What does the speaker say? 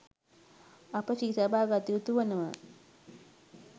අප සිහිතබා ගත යුතු වනවා.